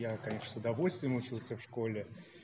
конечно с удовольствием учился в школе